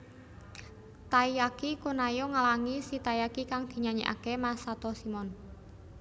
Taiyaki kun Ayo nglangi si Taiyaki kang dinyanyekake Masato Shimon